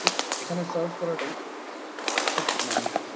খুব এখানে সার্ভ করাটাই খুব ম্যান্ডেটরি ।